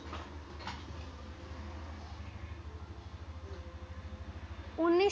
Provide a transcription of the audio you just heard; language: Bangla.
উনিশ